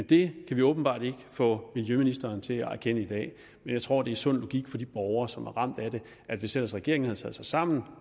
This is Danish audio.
det kan vi åbenbart ikke få miljøministeren til at erkende i dag men jeg tror det er sund logik for de borgere som er ramt af det at hvis ellers regeringen havde taget sig sammen